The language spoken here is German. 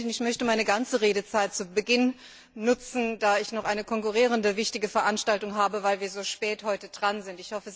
Ich möchte meine ganze Redezeit zu Beginn nutzen, weil ich noch eine konkurrierende wichtige Veranstaltung habe und wir so spät dran sind.